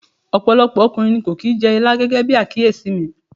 Ọ̀pọ̀lọpọ̀ ọkùnrin ni kò kì í jẹ ilá gẹ́gẹ́bí àkíyèsí mi.